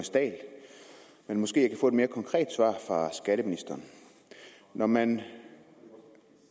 dahl men måske jeg kan få et mere konkret svar fra skatteministeren når man